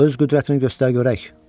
Öz qüdrətini göstər görək.